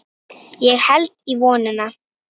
Ég held í vonina.